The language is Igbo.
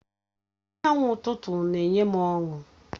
Anyanwụ ụtụtụ na-enye m ọṅụ.